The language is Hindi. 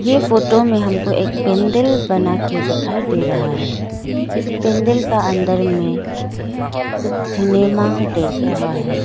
ये फोटो में हमको एक पेंडिल बना के दिखाई दे रहा है इस पेंडिल का अंदर में कुछ सिनेमा देख रहा है।